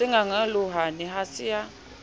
se qaqolohane ha se a